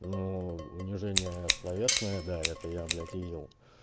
ну унижение словесное да это я блять видел